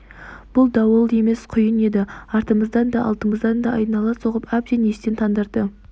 бұл дауыл емес құйын еді артымыздан да алдымыздан да айнала соғып әбден естен тандырды